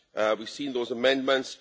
We've seen those amendments.